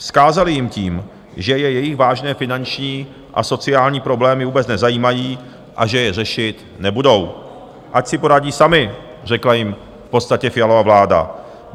Vzkázali jim tím, že je jejich vážné finanční a sociální problémy vůbec nezajímají a že je řešit nebudou - ať si poradí sami, řekla jim v podstatě Fialova vláda.